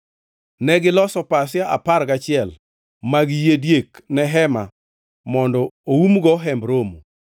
Negiloso pasia apar gachiel mag yie diek ne hema mondo oumgo Hemb Romo.